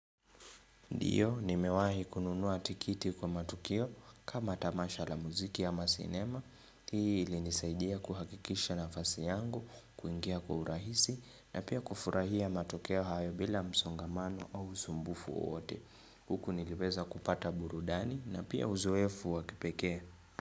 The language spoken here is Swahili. Ndio, nimewahi kununua tikiti kwa matukio kama tamasha la muziki ama sinema. Hii ilinisaidia kuhakikisha nafasi yangu, kuingia kwa urahisi na pia kufurahia matukio hayo bila msongamano au usumbufu wowote. Huku niliweza kupata burudani na pia uzoefu wa kipekee.